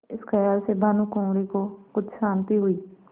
इस खयाल से भानुकुँवरि को कुछ शान्ति हुई